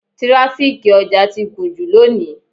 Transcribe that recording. Tíráfíkì ọjà ti gùn jù lónìí.